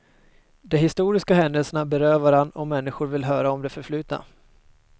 De historiska händelserna berör varann och människor vill höra om det förflutna.